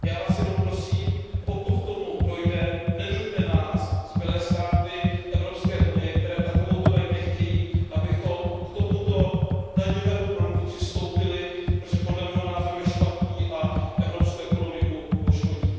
Já vás jenom prosím, pokud k tomu dojde, nenuťte nás, zbylé státy Evropské unie, které takovouto daň nechtějí, abychom k tomuto daňovému produktu přistoupili, protože podle mého názoru je špatný a evropskou ekonomiku poškodí.